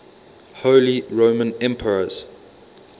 holy roman emperors